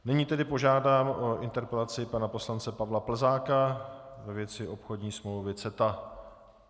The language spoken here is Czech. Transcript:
Nyní tedy požádám o interpelaci pana poslance Pavla Plzáka ve věci obchodní smlouvy CETA.